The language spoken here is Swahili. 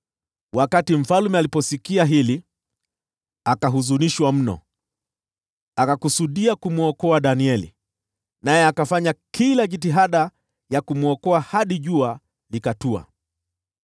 Wakati mfalme aliposikia hili, akahuzunika mno. Akakusudia kumwokoa Danieli, hivyo akafanya kila jitihada ya kumwokoa hadi jua likatua.